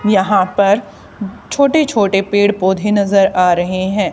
यहां पर छोटे छोटे पेड़ पौधे नजर आ रहे हैं।